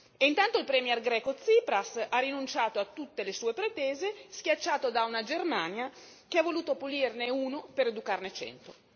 E intanto il premier greco Tsipras ha rinunciato a tutte le sue pretese, schiacciato da una Germania che ha voluto punirne uno per educarne cento.